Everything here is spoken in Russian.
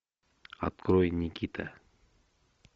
открой никита